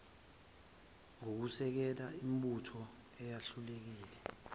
ngokusekela imibutho eyahlukile